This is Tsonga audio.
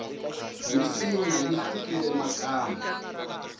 minsinya yi hlukile makamba